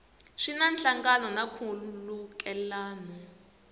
swi na nhlangano na nkhulukelano